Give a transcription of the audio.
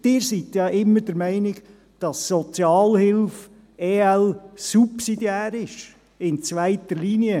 Sie sind ja immer der Meinung, dass Sozialhilfe, EL subsidiär sei, in zweiter Linie.